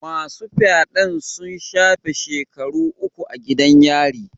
Masu fyaden sun shafe shekaru uku a gidan yari.